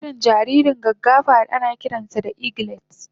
Ana kiran jaririn gaggafa da anakiran sa da eglet